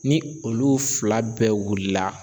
Ni olu fila bɛɛ wulila